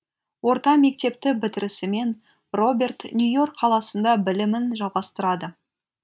орта мектепті бітірісімен роберт нью йорк қаласында білімін жалғастырады